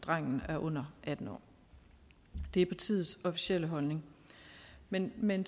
drengen er under atten år det er partiets officielle holdning men men